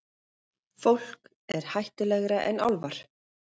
Fólk er hættulegra en álfar.